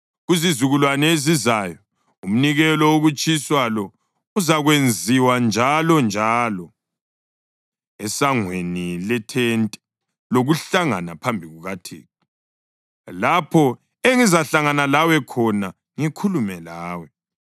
Kuzizukulwane ezizayo umnikelo wokutshiswa lo uzakwenziwa njalonjalo esangweni lethente lokuhlangana phambi kukaThixo, lapho engizahlangana lawe khona ngikhulume lawe.